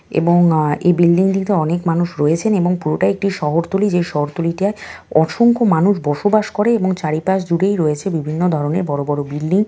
এবং আ এই বিল্ডিং -টিতে অনেক মানুষ রয়েছেন এবং পুরোটাই একটি শহরতলী যে শহরতলীটায় অসংখ্য মানুষ বসবাস করে এবং চারিপাশ জুড়েই রয়েছে বিভিন্ন ধরণের বড় বড় বিল্ডিং ।